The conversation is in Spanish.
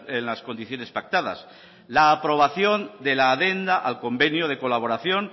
en las condiciones pactadas la aprobación de la adenda al convenio de colaboración